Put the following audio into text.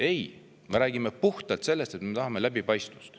Ei, me räägime puhtalt sellest, et me tahame läbipaistvust.